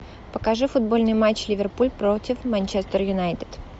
покажи футбольный матч ливерпуль против манчестер юнайтед